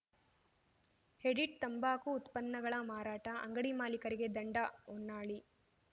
edit ತಂಬಾಕು ಉತ್ಪನ್ನಗಳ ಮಾರಾಟ ಅಂಗಡಿ ಮಾಲೀಕರಿಗೆ ದಂಡ ಹೊನ್ನಾಳಿ